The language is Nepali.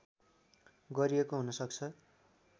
गरिएको हुन सक्छ